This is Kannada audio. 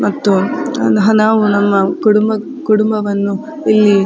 ಮತ್ತು ನಾವು ನಮ್ಮ ಕುಡುಂಬ ಕುಡುಂಬವನ್ನು ಇಲ್ಲಿ.